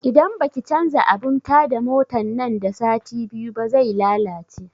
Idan baki canza abun ta da motan nan da sati biyu ba zai lalace